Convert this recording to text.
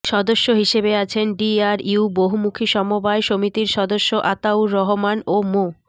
সদস্য হিসেবে আছেন ডিআরইউ বহুমুখী সমবায় সমিতির সদস্য আতাউর রহমান ও মো